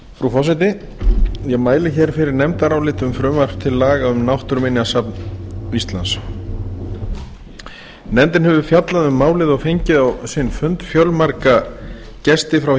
forseti ég mæli fyrir nefndaráliti um frumvarp til laga um náttúruminjasafn íslands nefndin hefur fjallað um málið og fengið á sinn fund fjölmarga gesti frá